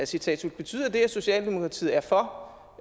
citat slut betyder det at socialdemokratiet er for